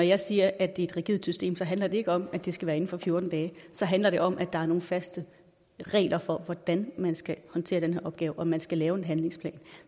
jeg siger at det er et rigidt system handler det ikke om at det skal være inden for fjorten dage så handler det om at der er nogle faste regler for hvordan man skal håndtere den her opgave og at man skal lave en handlingsplan